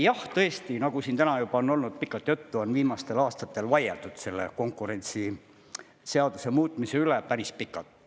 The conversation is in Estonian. Jah, tõesti, nagu siin täna juba on olnud pikalt juttu, on viimastel aastatel vaieldud selle konkurentsiseaduse muutmise üle päris pikalt.